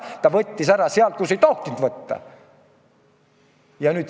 Ta võttis ära sealt, kust ei tohtinud võtta.